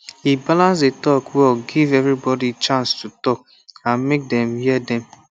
e balance the talk well give everybody chance to talk and make dem hear dem